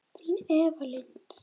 Þín Eva Lind.